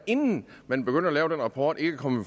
inden man begyndte at lave den rapport ikke kom